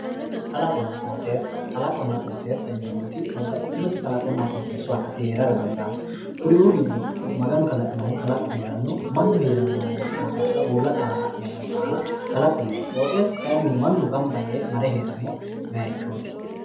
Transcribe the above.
Kalaqonna qooxxeesa, kalaqona qooxxeessa yineemmoti babbaxxitinoti kalaqonna qooxxeesu akati heerara dandaano kuriu giddo Maganu kalaqinohu kalaqu heerano mannu heerano qooxxeessa uullate aana la'neemmore baalla kalaqo yineemmo qooxxeesu mannu gamba yee marre heerano bayichoti.